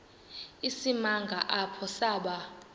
isimanga apho saba